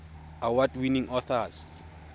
award winning authors